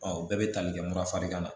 o bɛɛ bɛ tali kɛ mura fari kan na